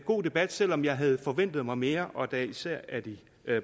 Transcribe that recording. god debat selv om jeg havde forventet mig mere og da især af de